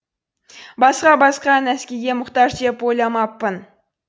басқа басқа нәскиге мұқтаж деп ойламаппын